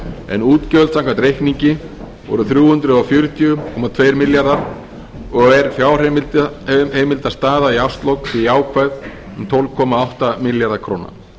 en útgjöld samkvæmt reikningi voru þrjú hundruð fjörutíu komma tveir milljarðar og er fjárheimildastaða í árslok því jákvæð um tólf komma átta milljarða króna